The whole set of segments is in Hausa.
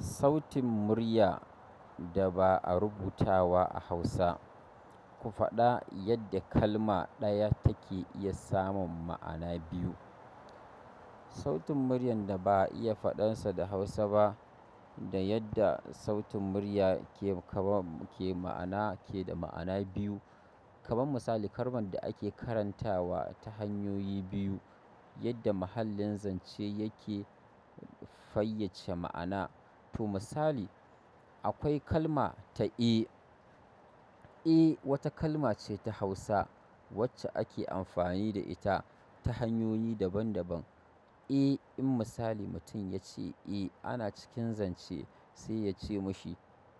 Sautin murya da ba a rubuta ba a hausa. Ku faɗa yadda kalma ɗaya take iya samun ma'ana biyu. Sautin muryar da ba a iya faɗar sa da Hausa ba da yadda sautin murya ke kaman ke ma'ana, ke da ma'ana biyu. Kaman misali kalman da ake karantawa ta hanyoyi biyu, yadda mahallin zance yake fayyace ma'ana. To misali, akwai kalma ta eh. "E" wata kalma ce ta Hausa wacce ake amfani da ita ta hanyoyi daban daban. "E", in misali mutum ya ce "e", ana cikin zance sai ya ce mishi,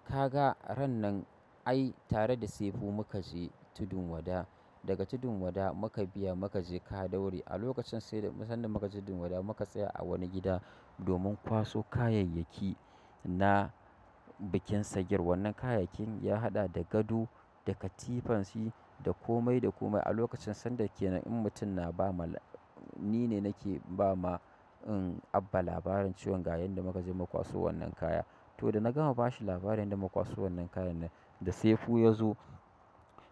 "ka ga ran nan ai tare da Sefu muka je tudun wada. Daga tudun wada muka biya muka je kadaure a lokacin sai da sanda muka je tudun wada muka tsaya a wani gida domin kwaso kayayyaki na bikin sagir. Wannan kayayyakin ya haɗa da gado, da katifan shi, da komai da komai. A lokacin sanda ke nan in mutum na ba ma ni ne nake ba ma in Abba labarin ciwon ga yanda muka je mu kwaso wannan kaya. To da na gama ba shi labarin yadda muka kwaso wannan kayan nan, da Sefu ya zo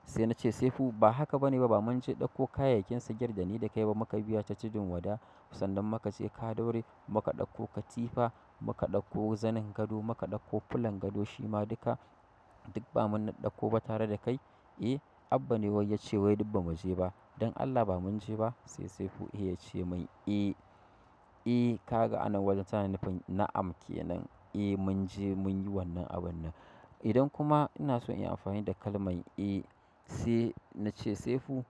sai na ce 'Sefu ba haka ba ne ba. Ba mun ce ɗauko kayayyakin sagir da ni da kai ba muka biya ta tudun wada. Sannan muka je kadaure muka ɗauko katifa, muka ɗakko zanin gado, muka ɗakko fulan gado shi ma duka duk ba mun daɗɗakko ba tare da kai 'Eh, Abba ne wai ya ce wai duk ba mu je ba. Don Allah ba mun je ba.' sai Sefu ya ce mai, 'Eh, eh, ka ga a nan wajen sana'an na'am ke nan. Eh mun je mun yi wannan abun nan.' idan kuma ina so in yi amfani da kalman 'e', sai na ce 'Sefu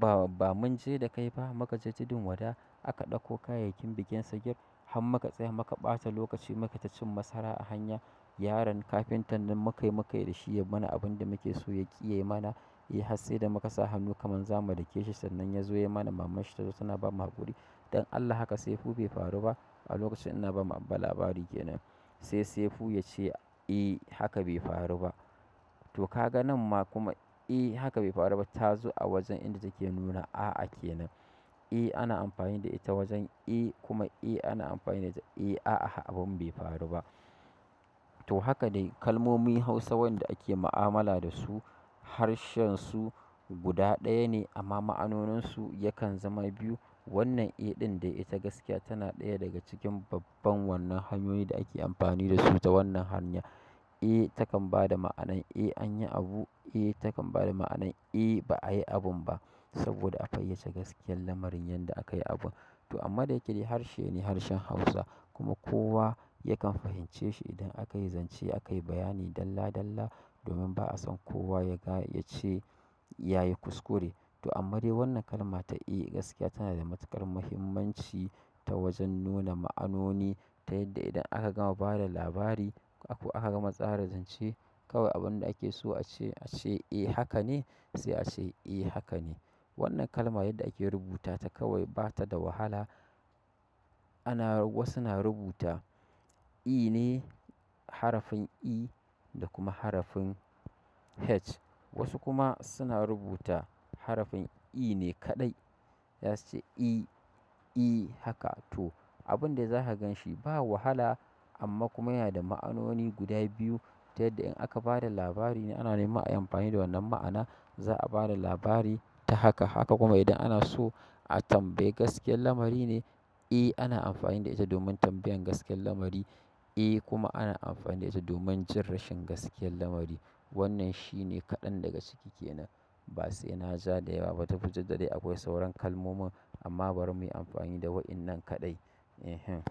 ba, ba mun je da kai ba. Muka je tudun wada aka ɗakko kayayyakin bikin sagir har muka tsaya muka ɓata lokaci muka taci masara a hanya. Yaron kafintan nan mukai mukai da shi ya mana abin da muke so ya ƙiye mana. Eh har sai da muka sa hannu kaman za mu dake shi sannan ya zo ya mana. Mamman shi ta zo tana ba mu haƙuri. Don Allah haka Sefu bai faru ba.'" A lokacin ina ba ma Abba labari ke nan, sai Sefu ya ce 'e haka bai faru ba'. To ka ga nan ma kuma 'e haka bai faru ba' ta zo a wajen inda take nuna a'a ake nan. 'E' ana amfani da ita wajen 'e', kuma 'e' ana amfani da ita 'e a'a abin bai faru ba. To haka dai kalmomin Hausa wanda ake mu'amala da su harshen su guda ɗaya ne amma ma'anonin su yakan zama biyu. Wannan e ɗin dai ita gaskiya tana ɗaya daga cikin babban wannan hanyoyi da ake amfani da su ta wannan hanya 'E' takan ba da ma'anar 'e an yi abu', 'e' takan ba da ma'anar 'e ba a yi abun ba' saboda a fayyace gaskiyar lamarin yanda aka yi abun. To amma da yake dai harshe ne harshen Hausa kuma kowa yakan fahimce shi idan aka yi zance aka yi bayani dalla dalla domin ba'a san kowa ya ga ya ce ya yi kuskure. To amma dai wannan kalma ta 'e' gaskiya tana da matuƙar muhimmanci ta wajen nuna ma'anoni ta yadda idan aka gama bada labari ko aka gama tsara zance kawai abun da ake so a ce a ce 'e haka ne', sai a ce 'e haka ne'. Wannan kalma yadda ake rubuta ta kawai ba ta da wahala. Ana wasu na rubuta 'e' ne, harafin 'e' da kuma harafin 'h'. Wasu kuma suna rubuta harafin 'e' ne kaɗai. Yace 'e', 'e' haka. To abun da za ka gan shi ba wahala amma kuma yana da ma'anoni guda biyu. Ta yadda in aka bada labari ne ana neman ai amfani da wannan ma'ana za'a bada labari ta haka. Haka kuma idan ana so a tambayi gaskiyar lamari ne 'e' ana amfani da ita domin tambayan gaskiyar lamari, 'e' kuma ana amfani da ita domin jin rashin gaskiyar lamari. Wannan shi ne kaɗan daga ciki kenan. Ba sai ina ja da yawa ba. Tafi duk da dai akwai sauran kalmomi amma bari mu yi amfani da waɗannan kaɗai. Ehem.